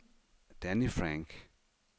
Danny Frank